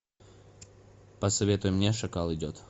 посоветуй мне шакал идет